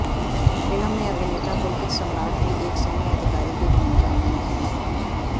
film में अभिनेता पुलकित सम्राट भी एक सैन्य अधिकारी की भूमिका में हैं